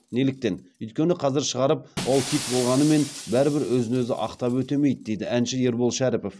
неліктен өйткені қазір шығарып ол хит болғанымен бәрібір өз өзін ақтап өтемейді дейді әнші ербол шәріпов